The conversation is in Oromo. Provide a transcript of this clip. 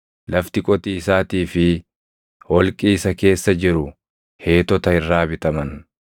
Lafti qotiisaatii fi holqi isa keessa jiru Heetota irraa bitaman.”